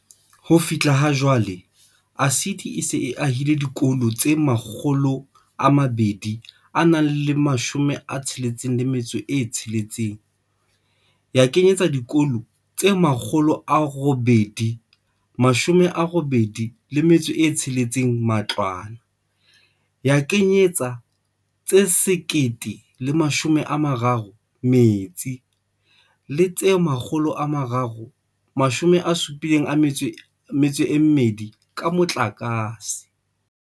Ho fihla ha jwale, ASIDI e se e ahile dikolo tse 266, ya kenyetsa dikolo tse 886 matlwana, ya kenyetsa tse 1030 metsi le tse 372 ka motlakase.